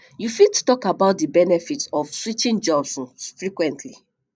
you fit talk about di benefits of switching jobs um frequently